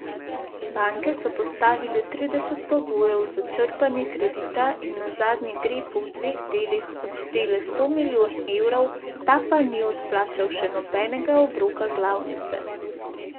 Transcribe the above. Banke so postavile trideset pogojev za črpanje kredita in nazadnje Grepu v dveh delih odštele sto milijonov evrov, ta pa ni odplačal še nobenega obroka glavnice.